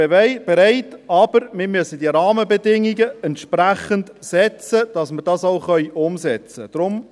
Wir sind bereit, aber wir müssen die Rahmenbedingungen so setzen, dass wir dies auch umsetzen können.